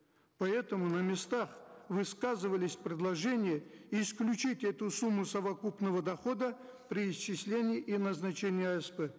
поэтому на местах высказывались предложения исключить эту сумму совокупного дохода при исчислении и назначении асп